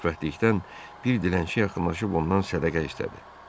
Xoşbəxtlikdən bir dilənçi yaxınlaşıb ondan sədəqə istədi.